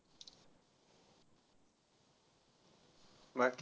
बाकी.